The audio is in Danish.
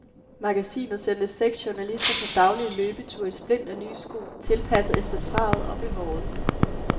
Magasinet sendte seks journalister på daglige løbeture i splinternye sko, tilpasset efter travet og behovet.